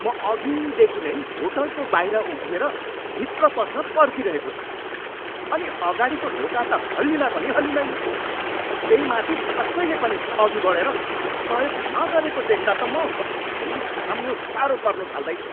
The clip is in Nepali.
म अघिदेखि नै होटलको बाहिर उभिएर भित्र पस्न पर्खिरहेको छु, अनि अगाडिको ढोका त हल्लिँदा पनि हल्लिँदैन। त्यही माथि कसैले पनि अघि बढेर सहयोग न गरेको देख्दा त म रिस थाम्नु साह्रो पर्नु थाल्दैछ।